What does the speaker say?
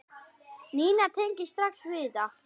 Nína tengir strax við þetta.